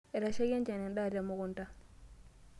Etashaikia enchan endaa temukunta.